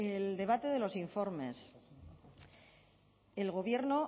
el debate de los informes el gobierno